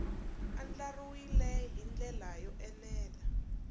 andlariwile hi ndlela yo enela